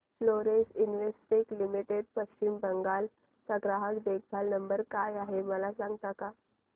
Florence Investec limited Paschim Bangal चा ग्राहक देखभाल नंबर काय आहे मला सांगता का